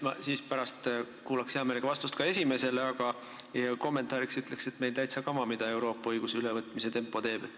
Ma kuulaksin pärast hea meelega ka vastust esimesele küsimusele, aga kommentaariks ütlen, et meil on täitsa kama, mis tempos Euroopa õiguse ülevõtmine käib.